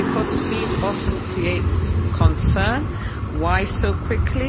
And because speed often creates concern, why so quickly?